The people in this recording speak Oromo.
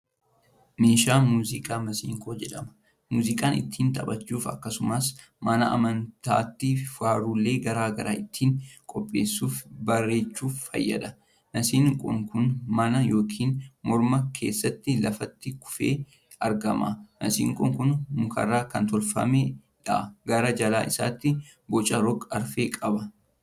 Meeshaa muuziqaa maseenqoo jedhama. Muuziqaa ittiin taphachuuf akkasumas mana amantaatti faarulee garaa garaa ittiin qopheessufii bareechuuf fayyada. Maseenqoon kun mana yookiin mooraa keessatti lafatti kufee argama. Maseenqoon kuni mukarraa kan tolfamuudha. Gara jala isaatti boca rog-afree qaba.